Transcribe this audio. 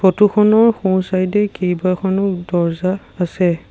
Photo খনৰ সোঁ side এ কেইবাখনো দৰ্জা আছে।